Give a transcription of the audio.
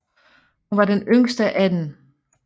Hun var den yngste af dem